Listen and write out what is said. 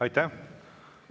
Aitäh!